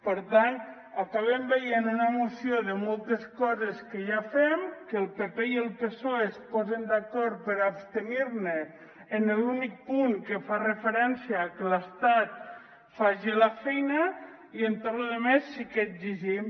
per tant acabem veient una moció de moltes coses que ja fem que el pp i el psoe es posen d’acord per abstenir se en l’únic punt que fa referència a que l’estat faci la feina i en tota la resta sí que exigim